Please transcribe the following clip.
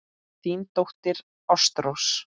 Þín dóttir, Ástrós.